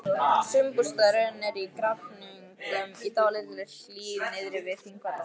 Sumarbústaðurinn er í Grafningnum, í dálítilli hlíð niðri við Þingvallavatn.